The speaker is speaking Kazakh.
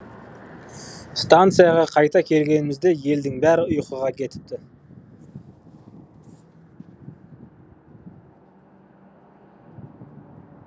станцияға қайта келгенімізде елдің бәрі ұйқыға кетіпті